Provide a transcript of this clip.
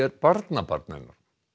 barnabarn hennar